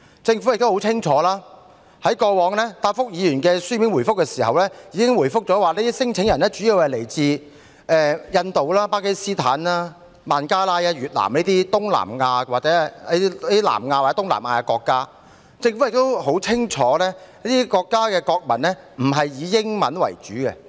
政府在過往答覆議員的書面質詢時曾清楚表示，聲請人主要來自印度、巴基斯坦、孟加拉、越南等南亞或東南亞國家，而政府亦很清楚這些國家的國民並非以英語為母語。